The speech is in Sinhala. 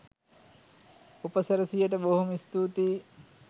උපසිරැසියට බොහොම ස්තුතියි